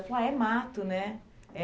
Ela falou, é mato, né? É